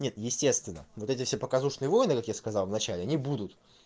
нет естественно вот эти все показушные войны как я сказал вначале они будут